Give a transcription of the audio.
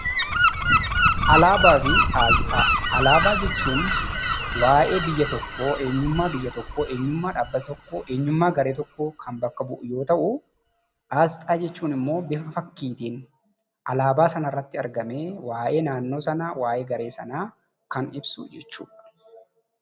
Alaabaa fi aasxaa. Alaabaa jechuun waa'ee biyya tokkoo eenyummaa biyya tokkoo, eenyummaa dhaabbata tokkoo, eenyummaa garee tokkoo kan bakka bu'u yoo ta'uu aasxaa jechuun immoo bifa fakkiitiin alaabaa sanarratti argamee waa'ee naannoo sanaa, waa'ee garee sanaa kan ibsu jechuudha.